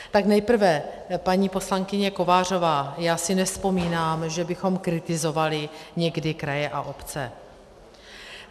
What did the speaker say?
Tak nejprve, paní poslankyně Kovářová, já si nevzpomínám, že bychom kritizovali někdy kraje a obce.